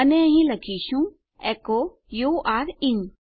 અને અહીં આપણે લખીશું એકો યુરે ઇન